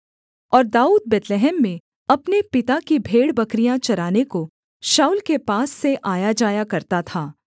और दाऊद बैतलहम में अपने पिता की भेड़ बकरियाँ चराने को शाऊल के पास से आयाजाया करता था